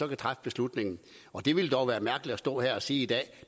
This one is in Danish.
kan træffe beslutningen det ville dog være mærkeligt at stå her og sige i dag at